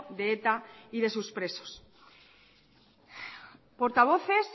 de eta y de sus presos portavoces